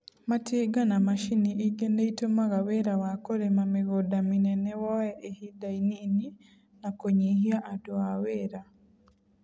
Matinga na macini ingĩ nĩ itũmaga wĩra wa kũrĩma mĩgũnda mĩnene woye ihinda inini na kũnyihia adũ a wera.